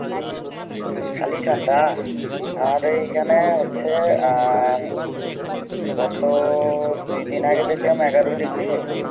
খালি ঠান্ডা? আমাদের এইখানে হচ্ছে আহ গত দুই দিন আগে দেখলাম এগারো degree